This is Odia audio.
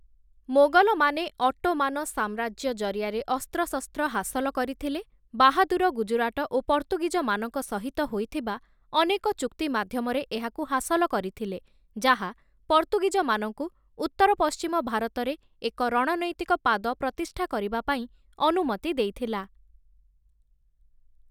ମୋଗଲମାନେ ଅଟୋମାନ ସାମ୍ରାଜ୍ୟ ଜରିଆରେ ଅସ୍ତ୍ରଶସ୍ତ୍ର ହାସଲ କରିଥିଲେ, ବାହାଦୁର ଗୁଜରାଟ ଓ ପର୍ତ୍ତୁଗୀଜମାନଙ୍କ ସହିତ ହୋଇଥିବା ଅନେକ ଚୁକ୍ତି ମାଧ୍ୟମରେ ଏହାକୁ ହାସଲ କରିଥିଲେ, ଯାହା ପର୍ତ୍ତୁଗୀଜମାନଙ୍କୁ ଉତ୍ତର-ପଶ୍ଚିମ ଭାରତରେ ଏକ ରଣନୈତିକ ପାଦ ପ୍ରତିଷ୍ଠା କରିବା ପାଇଁ ଅନୁମତି ଦେଇଥିଲା ।